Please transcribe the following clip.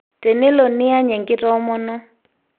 Tenelo niany enkitomono.